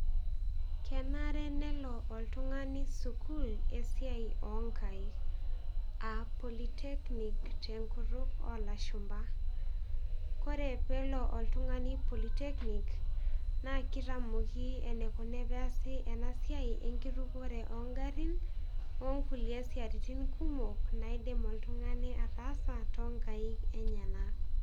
Kenare nelo oltung'ani sukuul esiai o nkaek a polytechnic te nkutuk olashumba. Kore peelo oltung'ani polytechnic, naa kitamoki enikuni peasi ena siai enkitukore o ng'arin o nkulie siatin kumok naidim oltung'ani ataasa too nkaek enyenak.